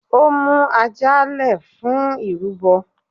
Ó mú ajá le fún irúbo.